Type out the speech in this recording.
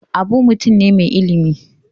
Abu mutum ne mai ilimi.